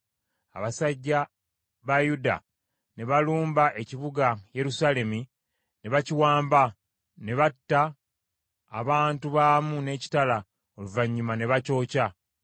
Abasajja ba Yuda ne balumba ekibuga Yerusaalemi ne bakiwamba ne batta abantu baamu n’ekitala, oluvannyuma ne bakyokya.